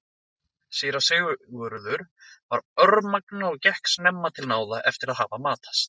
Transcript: Síra Sigurður var örmagna og gekk snemma til náða eftir að hafa matast.